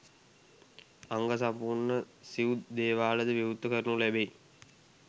අංග සම්පූර්ණ සිව් දේවාලද විවෘත කරනු ලැබෙයි.